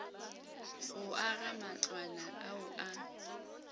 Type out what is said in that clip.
go aga matlwana ao a